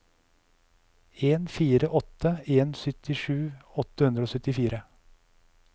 en fire åtte en syttisju åtte hundre og syttifire